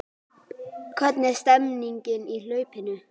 Hvernig er stemningin í hlaupinu?